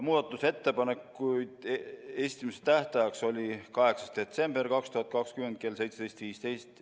Muudatusettepanekute esitamise tähtajaks oli 8. detsember 2020 kell 17.15.